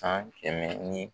San kɛmɛ ni